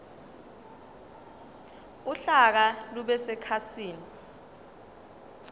uhlaka lube sekhasini